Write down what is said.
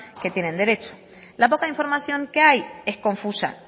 que tienen derecho la poca información que hay es confusa